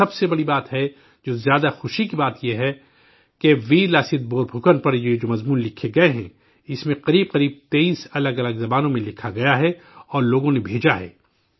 اور سب سے بڑی بات ہے اور جو زیادہ خوشی کی بات یہ ہے کہ ویر لاست بورپھوکن پر یہ جو مضامین لکھے گئے ہیں، اس میں قریب قریب 23 الگ الگ زبانوں میں لکھا گیا ہے اور لوگوں نے بھیجا ہے